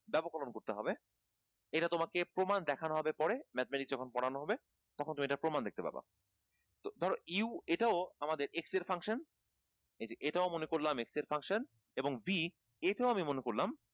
ব্যাপককরন করতে হবে এটা তোমাকে প্রমাণ দেখানো হবে পরে mathematics যখন পড়ানো হবে তখন তুমি এটার প্রমান দেখতে পাবা, ধরো u এটাও আমাদের x এর function এটাও মনে করলাম x এর function এবং b এটাও আমি মনে করলাম